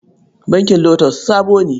Bankin LOTUS sabo ne.